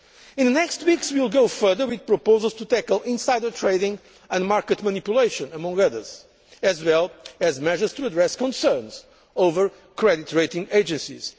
In the next weeks we will go further with proposals to tackle insider trading and market manipulation, among others, as well as measures to address concerns over credit rating agencies.